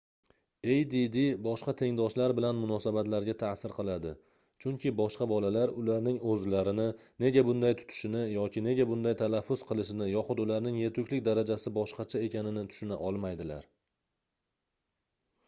add boshqa tengdoshlar bilan munosabatlarga taʼsir qiladi chunki boshqa bolalar ularning oʻzlarini nega bunday tutishini yoki nega bunday talaffuz qilishini yoxud ularning yetuklik darajasi boshqacha ekanini tushuna olmaydilar